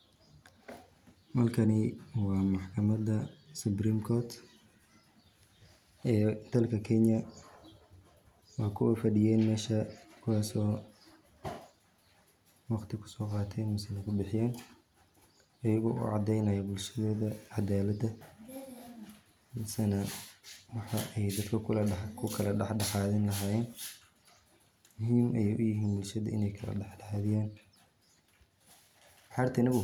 Halkani waa maxkamada supreme court ee dalka kenya waa kuwa fadhiyen mesha, kuwaaso waqti kuso qaaten misee kubixiyeen ayago ucadeynayo bulshada cadalad misena waxa ay dadka kukula dhaxdhaxadini lahayeen ,muhiim ayay uyihiin inay bulshada kala dhaxdhaxadiyan